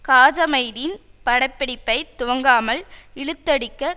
காஜாமைதீன் பட பிடிப்பை துவங்காமல் இழுத்தடிக்க